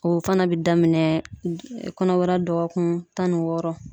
O fana bɛ daminɛ kɔnɔbara dɔgɔkun tan ni wɔɔrɔ.